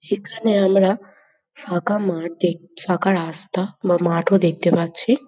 সেখানে আমরা ফাঁকা মাঠ দেখ ফাঁকা রাস্তা বা মাঠও দেখতে পাচ্ছি।